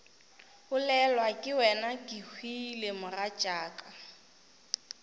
bolelwa ke wena kehwile mogatšaka